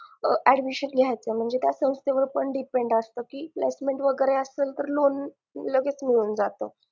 admission घायच त्या संस्थेवर पण depend असत कि investment वगैरे असेल तर लोण लगेच मिळून जात